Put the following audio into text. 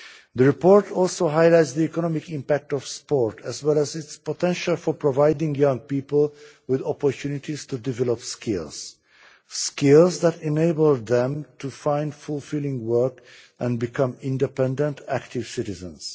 The report also highlights the economic impact of sport, as well as its potential for providing young people with opportunities to develop skills skills that enable them to find fulfilling work and become independent active citizens.